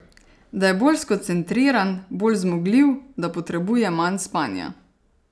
Da je bolj skoncentriran, bolj zmogljiv, da potrebuje manj spanja.